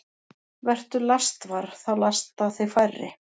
Vertu lastvar – þá lasta þig færri.